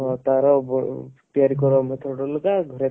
ତାର ବ ତିଆରି କରିବାର ନଥିବ ବୋଲିତ